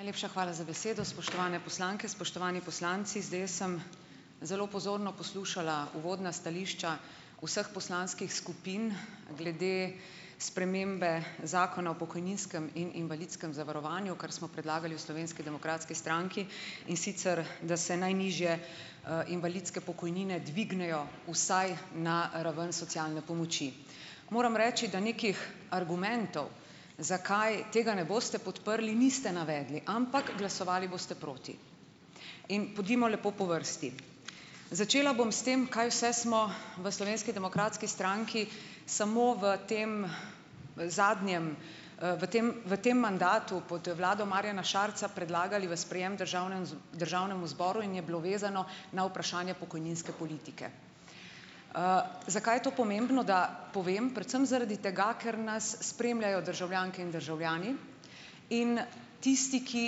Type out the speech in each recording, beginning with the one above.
Najlepša hvala za besedo, spoštovane poslanke, spoštovani poslanci, zdaj jaz sem zelo pozorno poslušala uvodna stališča vseh poslanskih skupin glede spremembe zakona o pokojninskem in invalidskem zavarovanju, kar smo predlagali v Slovenski demokratski stranki, in sicer da se najnižje invalidske pokojnine dvignejo vsaj na raven socialne pomoči. Moram reči na nekih argumentov, zakaj tega ne boste podprli, niste navedli, ampak glasovali boste proti in pojdimo lepo po vrsti. Začela bom s tem, kaj vse smo v Slovenski demokratski stranki samo v tem zadnjem, v tem v tem mandatu pod vlado Marjana Šarca predlagali v sprejem državnemu državnemu zboru in je bilo vezano na vprašanje pokojninske politike. Zakaj je to pomembno, da povem? Predvsem zaradi tega, ker nas spremljajo državljanke in državljani in tisti, ki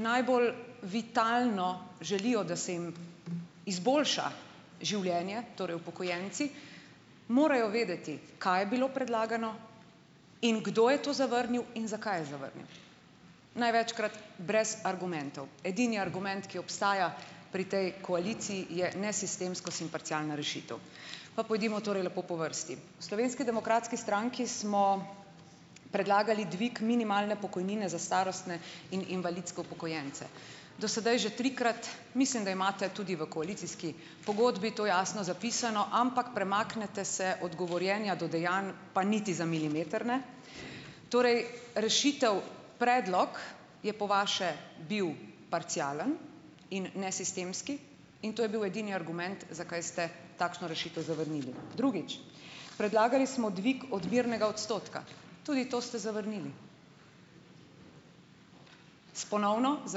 najbolj vitalno želijo, da se jim izboljša življenje, torej upokojenci morajo vedeti, kaj je bilo predlagano in kdo je to zavrnil in zakaj je zavrnil, največkrat brez argumentov. Edini argument, ki obstaja pri tej koaliciji, je nesistemsko simparcialna rešitev. Pa pojdimo torej lepo po vrsti. V Slovenski demokratski stranki smo predlagali dvig minimalne pokojnine za starostne in invalidske upokojence do sedaj že trikrat, mislim, da imate tudi v koalicijski pogodbi to jasno zapisano, ampak premaknete se od govorjenja do dejanj pa niti za milimeter ne. Torej rešitev, predlog je po vaše bil parcialen in nesistemski in to je bil edini argument, zakaj ste takšno rešitev zavrnili, drugič, predlagali smo dvig odmernega odstotka, tudi to ste zavrnili, s ponovno z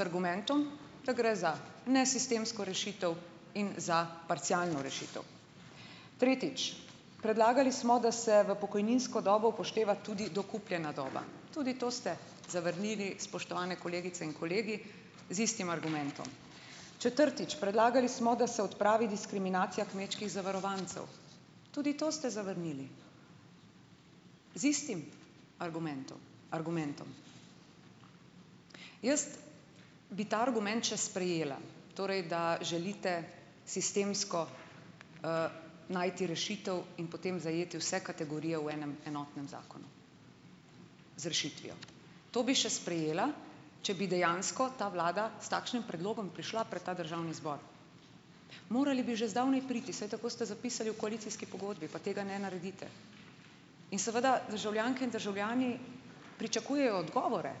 argumentom, da gre za nesistemsko rešitev in za parcialno rešitev, tretjič, predlagali smo, da se v pokojninsko dobo upošteva tudi dokupljena doba, tudi to ste zavrnili, spoštovane kolegice in kolegi, z istim argumentom, četrtič, predlagali smo, da se odpravi diskriminacija kmečkih zavarovancev, tudi to ste zavrnili, da z istim argumentom, argumentom. Jaz bi ta argument še sprejela, torej da želite sistemsko najti rešitev in potem zajeti vse kategorije v enem enotnem zakonu z rešitvijo, to bi še sprejela, če bi dejansko ta vlada s takšnim predlogom prišla pred ta državni zbor, morali bi že zdavnaj priti, saj tako ste zapisali v koalicijski pogodbi, pa tega ne naredite, in seveda državljanke in državljani pričakujejo odgovore,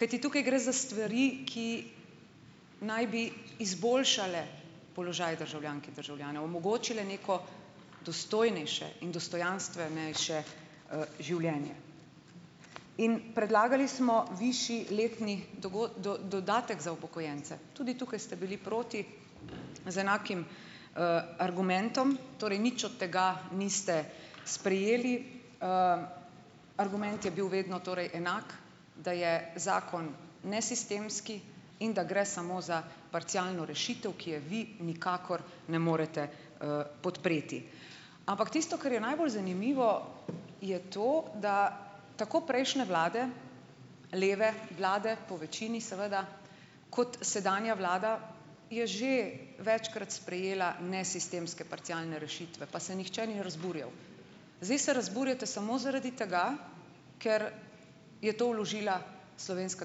kajti tukaj gre za stvari, ki naj bi izboljšale položaj državljank in državljanov, omogočile neko dostojnejše in dostojanstvenejše življenje in predlagali smo višji letni dodatek za upokojence, tudi tukaj ste bili proti z enakim argumentom, torej nič od tega niste sprejeli, argument je bil vedno torej enak, da je zakon nesistemski in da gre samo za parcialno rešitev, ki je vi nikakor ne morete podpreti, ampak tisto, kar je najbolj zanimivo, je to, da tako prejšnje vlade, leve vlade po večini, seveda, kot sedanja vlada, je že večkrat sprejela nesistemske parcialne rešitve, pa se nihče ni razburjal, zdaj se razburjate samo zaradi tega, ker je to vložila Slovenska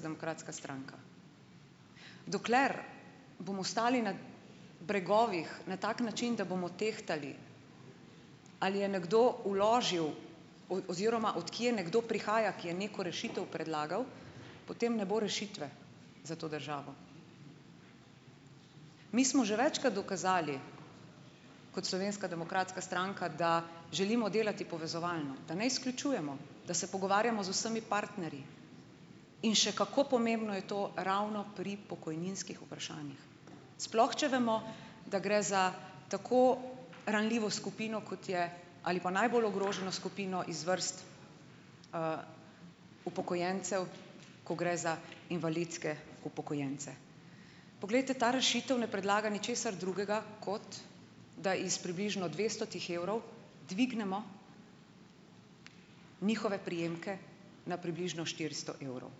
demokratska stranka. Dokler bomo stali na bregovih na tak način, da bomo tehtali, ali je nekdo vložil, oziroma od kje nekdo prihaja, ki je neko rešitev predlagal, potem ne bo rešitve za to državo, mi smo že večkrat dokazali kot Slovenska demokratska stranka, da želimo delati povezovalno, da ne izključujemo, da se pogovarjamo z vsemi partnerji, in še kako pomembno je to ravno pri pokojninskih vprašanjih, sploh če vemo, da gre za tako ranljivo skupino, kot je, ali pa najbolj ogroženo skupino iz vrst upokojencev, ko gre za invalidske upokojence. Poglejte ta rešitev ne predlaga ničesar drugega, kot da iz približno dvestotih evrov dvignemo njihove prejemke na približno štiristo evrov,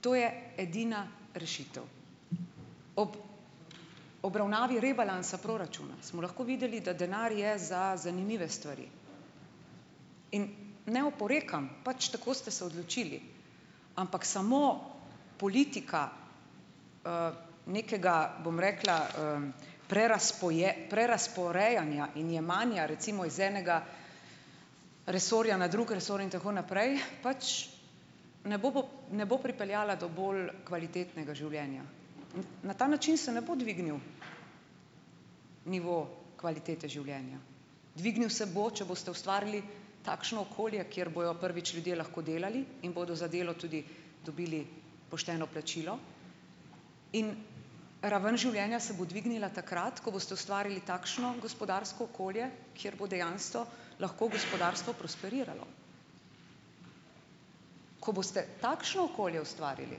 to je edina rešitev. Ob obravnavi rebalansa proračuna smo lahko videli, da denar je za zanimive stvari, in ne oporekam, pač tako ste se odločili, ampak samo politika nekega, bom rekla, prerazporejanja in jemanja recimo iz enega resorja na drug resor in tako naprej, pač ne bo pripeljala do bolj kvalitetnega življenja, na ta način se ne bo dvignil nivo kvalitete življenja, dvignil se bo, če boste ustvarili takšno okolje, kjer bojo prvič ljudje lahko delali in bodo za delo tudi dobili pošteno plačilo, in raven življenja se bo dvignila takrat, ko boste ustvarili takšno gospodarsko okolje, kjer bo dejansko lahko gospodarstvo prosperiralo, ko boste takšno okolje ustvarili,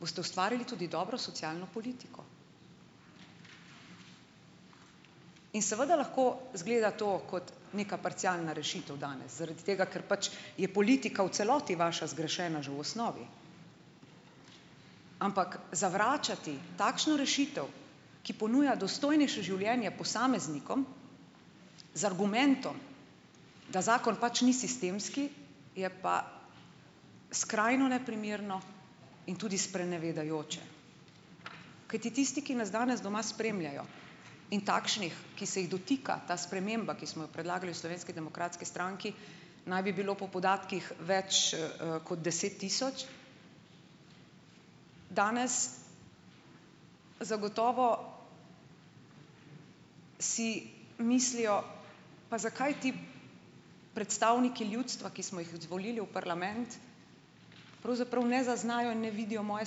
boste ustvarili tudi dobro socialno politiko, in seveda lahko izgleda to kot neka parcialna rešitev danes zaradi tega, ker pač je politika v celoti vaša zgrešena že v osnovi, ampak zavračati takšno rešitev, ki ponuja dostojnejše življenje posameznikom, z argumentom, da zakon pač ni sistemski, je pa skrajno neprimerno in tudi sprenevedajoče, kajti tisti, ki nas danes doma spremljajo, in takšnih, ki se jih dotika ta sprememba, ki smo jo predlagali v Slovenski demokratski stranki, naj bi bilo po podatkih več kot deset tisoč. Danes zagotovo si mislijo: "Pa zakaj ti predstavniki ljudstva, ki smo jih izvolili v parlament. pravzaprav ne zaznajo in ne vidijo moje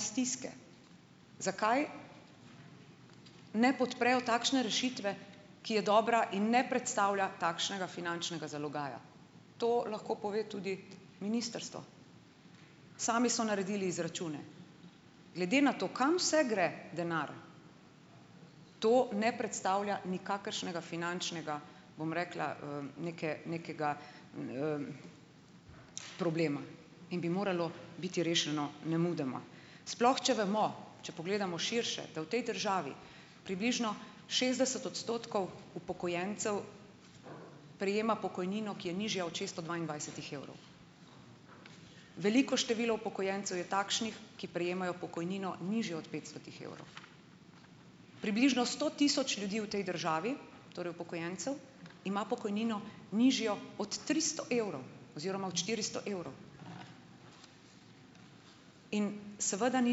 stiske. zakaj ne podprejo takšne rešitve, ki je dobra in ne predstavlja takšnega finančnega zalogaja?" To lahko pove tudi ministrstvo, sami so naredili izračune glede na to, kam vse gre denar, to ne predstavlja nikakršnega finančnega, bom rekla, neke nekega problema in bi moralo biti rešeno nemudoma, sploh če vemo, če pogledamo širše, da v tej državi približno šestdeset odstotkov upokojencev prejema pokojnino, ki je nižja od šeststo dvaindvajsetih evrov, veliko število upokojencev je takšnih, ki prejemajo pokojnino nižjo od petstotih evrov, približno sto tisoč ljudi v tej državi, torej upokojencev, ima pokojnino nižjo od tristo evrov oziroma od štiristo evrov in seveda ni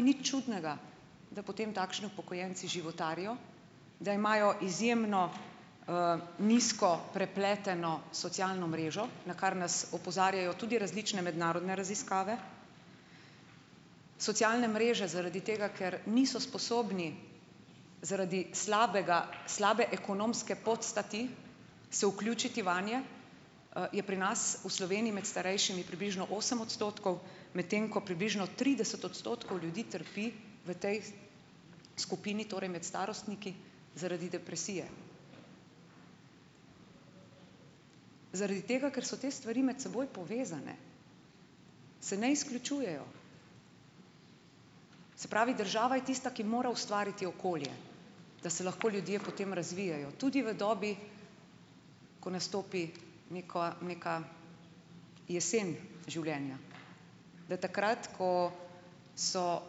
nič čudnega, da potem takšni upokojenci životarijo, da imajo izjemno nizko prepleteno socialno mrežo, na kar nas opozarjajo tudi različne mednarodne raziskave, socialne mreže zaradi tega, ker niso sposobni zaradi slabega slabe ekonomske podstati se vključiti vanje, je pri nas v Sloveniji med starejšimi približno osem odstotkov, medtem ko približno trideset odstotkov ljudi trpi v tej skupini, torej med starostniki, zaradi depresije zaradi tega, ker so te stvari med seboj povezane, se ne izključujejo, se pravi, država je tista, ki mora ustvariti okolje, da se lahko ljudje potem razvijajo tudi v dobi, ko nastopi neko neka jesen življenja, da takrat, ko so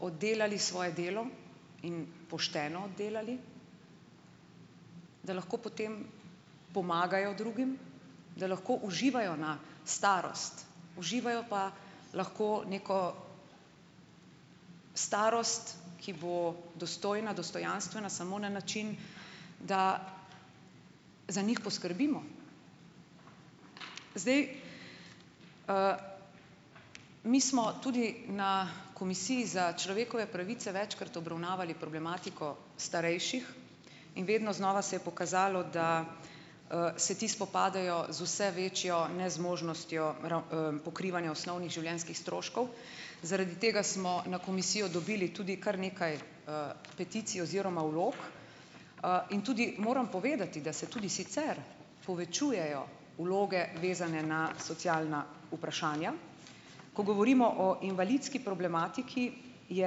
oddelali svoje delo in pošteno oddelali, da lahko potem pomagajo drugim, da lahko uživajo na starost, uživajo pa lahko neko starost, ki bo dostojna dostojanstvena samo na način, da za njih poskrbimo zdaj, mi smo tudi na komisiji za človekove pravice večkrat obravnavali problematiko starejših in vedno znova se je pokazalo, da se ti spopadajo z vse večjo nezmožnostjo pokrivanja osnovnih življenjskih stroškov, zaradi tega smo na komisijo dobili tudi kar nekaj peticij oziroma vlog, in tudi moram povedati, da se tudi sicer povečujejo vloge, vezane na socialna vprašanja, ko govorimo o invalidski problematiki, je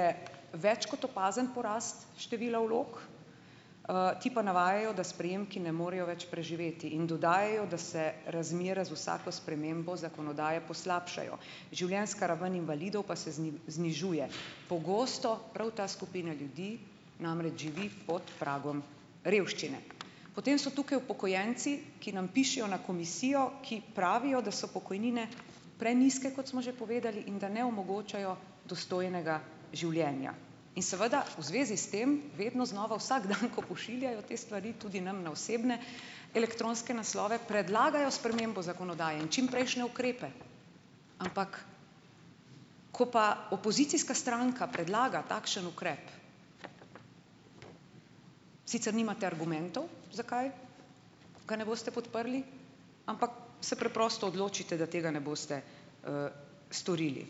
je več kot opazen porast števila vlog, ti pa navajajo, da s prejemki ne morejo več preživeti, in dodajajo, da se razmere z vsako spremembo zakonodaje poslabšajo, življenjska raven invalidov pa se znižuje, pogosto prav ta skupina ljudi namreč živi pod pragom revščine, potem so tukaj upokojenci, ki nam pišejo na komisijo, ki pravijo, da so pokojnine prenizke, kot smo že povedali, in da ne omogočajo dostojnega življenja, in seveda v zvezi s tem vedno znova vsak dan, ko pošiljajo te stvari tudi nam na osebne elektronske naslove, predlagajo spremembo zakonodaje in čimprejšnje ukrepe, ampak ko pa opozicijska stranka predlaga takšen ukrep, sicer nimate argumentov, zakaj ga ne boste podprli, ampak se preprosto odločite, da tega ne boste storili,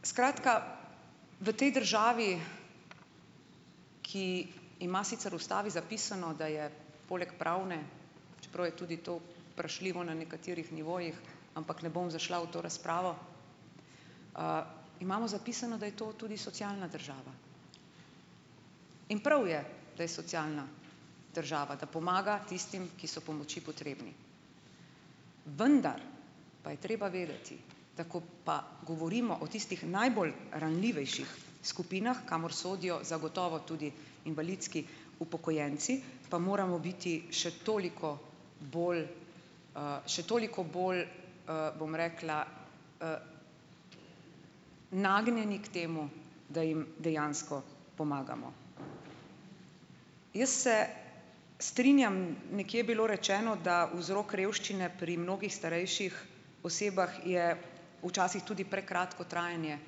skratka v tej državi, ki ima sicer v ustavi zapisano, da je poleg pravne, čeprav je tudi to vprašljivo na nekaterih nivojih, ampak ne bom zašla v to razpravo, imamo zapisano, da je to tudi socialna država, in prav je, da je socialna država, da pomaga tistim, ki so pomoči potrebni, vendar pa je treba vedeti, tako pa govorimo o tistih najbolj ranljivejših skupinah, kamor sodijo zagotovo tudi invalidski upokojenci, pa moramo biti še toliko bolj še toliko bolj, bom rekla, nagnjeni k temu, da jim dejansko pomagamo, jaz se strinjam, nekje je bilo rečeno, da vzrok revščine pri mnogih starejših osebah je včasih tudi prekratko trajanje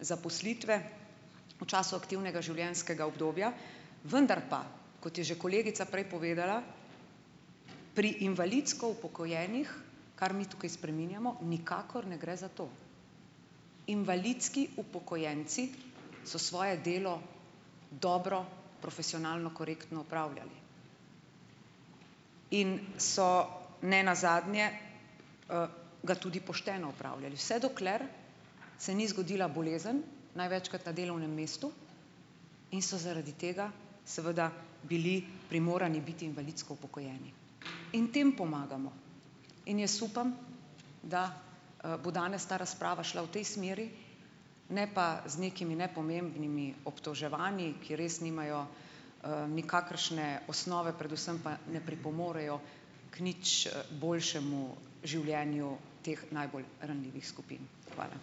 zaposlitve v času aktivnega življenjskega obdobja, vendar pa, kot je že kolegica prej povedala, pri invalidsko upokojenih, kar mi tukaj spreminjamo, nikakor ne gre za to, invalidski upokojenci so svoje delo dobro profesionalno korektno opravljali in so nenazadnje ga tudi pošteno opravljali, vse dokler se ni zgodila bolezen, največkrat na delovnem mestu, in so zaradi tega seveda bili primorani biti invalidsko upokojeni in tem pomagamo in jaz upam, da bo danes ta razprava šla v tej smeri, ne pa z nekimi nepomembnimi obtoževanji, ki res nimajo nikakršne osnove, predvsem pa ne pripomorejo k nič boljšemu življenju teh najbolj ranljivih skupin, hvala.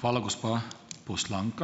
Hvala, gospa poslanka.